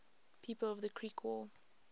people of the creek war